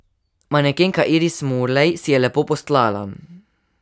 Manekenka Iris Mulej si je lepo postlala.